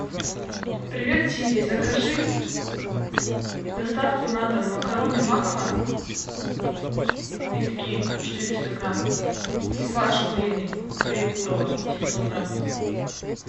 привет сири закажи доставку на дом макароны макфа витки четыреста грамм и фарш куриный троекурово семьсот грамм